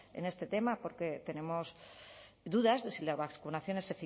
en este tema porque tenemos dudas de si las vacunaciones